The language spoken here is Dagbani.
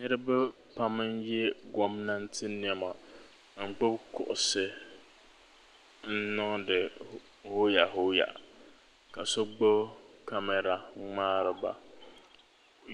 Niriba pam n-ye gomnanti nɛma n-gbubi kuɣusi n-niŋdi hooya hooya ka so gbubi kamara ŋ-ŋmaari ba